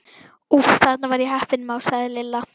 Úff, þarna var ég heppin másaði Lilla.